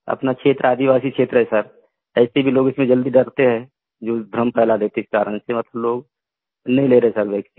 अपना क्षेत्र आदिवासीक्षेत्र है सर ऐसे भी लोग इसमें जल्दी डरते हैं जो भ्रम फैला देते कारण से लोग नहीं ले रहे सर वैक्सीन